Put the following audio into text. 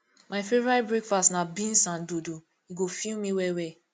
my favorite breakfast na beans and dodo e go fill me well well